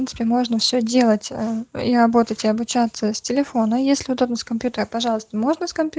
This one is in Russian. можно все делать я работать и обучаться с телефона если удалил с компьютера пожалуйста можно